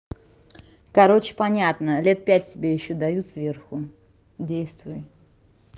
короче понятно лет пять тебе ещё дают сверху действуй